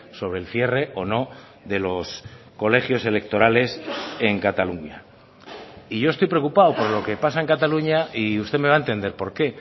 sobre el cierre o no de los colegios electorales en cataluña y yo estoy preocupado por lo que pasa en cataluña y usted me va a entender por qué